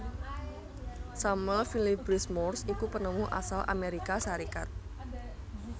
Samuel Finley Breese Morse iku penemu asal Amérika Sarékat